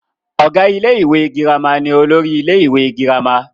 ọ̀gá ilé ìwé girama ni olórí ilé ìwé girama